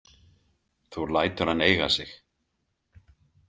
Þú lætur hann eiga sig.